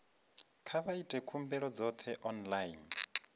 kha vha ite khumbelo dzoṱhe online